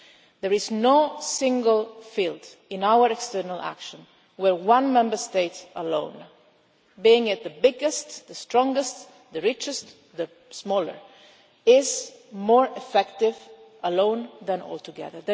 There is no single field in our external action where one Member State alone, whether it is the biggest, the strongest, the richest, the smallest, is more effective alone than all together.